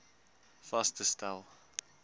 vas te stel